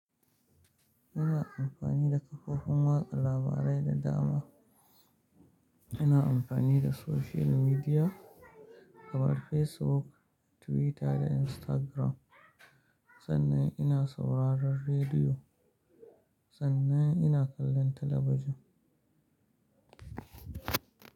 Ina amfani da kafofin watsa labarai da dama. Ina amfani da social media kamar Facebook, Twitter da Instagram. Sannan ina sauraron rediyo, sannan ina kallon talabijin.